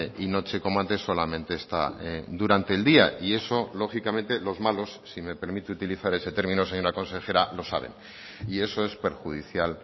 y noche como antes solamente está durante el día y eso lógicamente los malos si me permite utilizar ese término señora consejera lo saben y eso es perjudicial